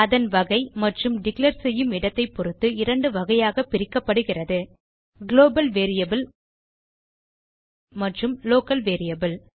அதன் வகை மற்றும் டிக்ளேர் செய்யும் இடத்தைப் பொருத்து இரண்டு வகையாக பிரிக்கப்படுகிறது குளோபல் வேரியபிள் மற்றும் லோக்கல் வேரியபிள்